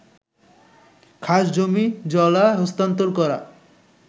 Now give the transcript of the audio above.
খাস জমি/জলা হস্তান্তর করা